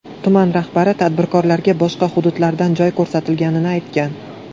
Tuman rahbari tadbirkorlarga boshqa hududlardan joy ko‘rsatilganini aytgan.